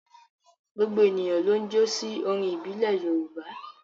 Gbogbo ènìyàn ló ń jó sí orin ìbílẹ̀ Yorùbá.